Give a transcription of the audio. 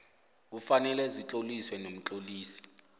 kufanele zitloliswe nomtlolisi